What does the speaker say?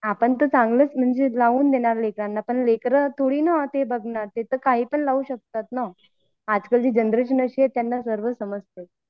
आपण तर चांगलाच लावून देणार लेकरांना पण लेकरं थोडी ना ते बघणार ते काहीपण लावू शकतात आजकाल ची जनरेशन अशी आहे त्यांना सर्व काही समजते